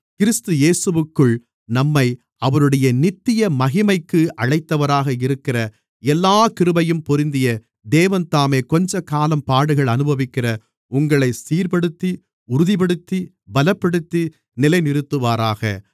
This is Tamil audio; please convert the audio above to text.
கிறிஸ்து இயேசுவிற்குள் நம்மை அவருடைய நித்திய மகிமைக்கு அழைத்தவராக இருக்கிற எல்லாக் கிருபையும் பொருந்திய தேவன்தாமே கொஞ்சக்காலம் பாடுகள் அனுபவிக்கிற உங்களைச் சீர்ப்படுத்தி உறுதிப்படுத்தி பலப்படுத்தி நிலைநிறுத்துவாராக